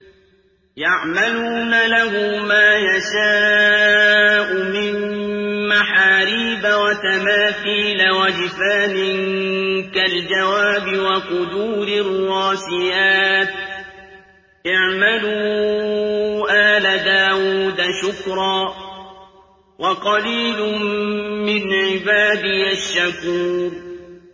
يَعْمَلُونَ لَهُ مَا يَشَاءُ مِن مَّحَارِيبَ وَتَمَاثِيلَ وَجِفَانٍ كَالْجَوَابِ وَقُدُورٍ رَّاسِيَاتٍ ۚ اعْمَلُوا آلَ دَاوُودَ شُكْرًا ۚ وَقَلِيلٌ مِّنْ عِبَادِيَ الشَّكُورُ